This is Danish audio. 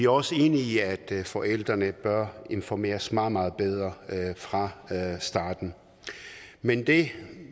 også enige i at forældrene bør informeres meget meget bedre fra starten men det